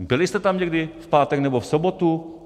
Byli jste tam někdy v pátek nebo v sobotu?